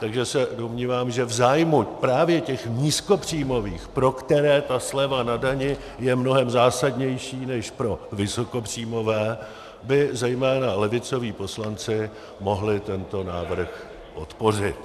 Takže se domnívám, že v zájmu právě těch nízkopříjmových, pro které ta sleva na dani je mnohem zásadnější než pro vysokopříjmové, by zejména levicoví poslanci mohli tento návrh podpořit.